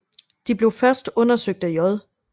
De blev først undersøgt af J